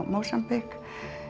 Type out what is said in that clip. Mósambík